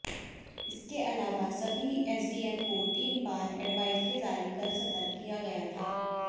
इसके अलावा सभी एसडीएम को तीन बार एडवायजरी जारी कर सतर्क किया गया था